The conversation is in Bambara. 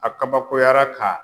A kabakoyara ka